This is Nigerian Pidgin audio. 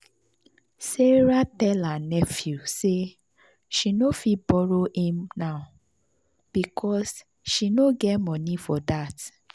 sarah tell her nephew say she no fit borrow him now because she no get money for that.